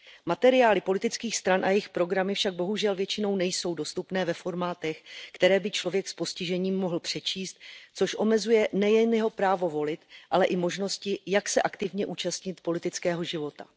Materiály politických stran a jejich programy však bohužel většinou nejsou dostupné ve formátech, které by člověk s postižením mohl přečíst, což omezuje nejen jeho právo volit, ale i možnosti, jak se aktivně zúčastnit politického života.